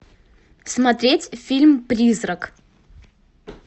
смотреть фильм призрак